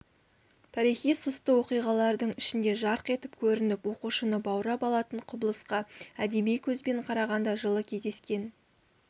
тарихи сұсты оқиғалардың ішінде жарқ етіп көрініп оқушыны баурап алатын құбылысқа әдеби көзбен қарағанда жылы кездескен